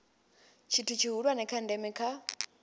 tshithu tshihulwane tsha ndeme kha